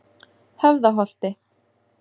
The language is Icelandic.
Höfðaholti